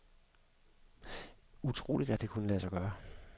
Utroligt at det kunne lade sig gøre.